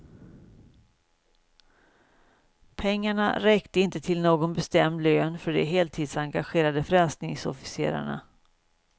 Pengarna räckte inte till någon bestämd lön för de heltidsengagerade frälsningsofficerarna.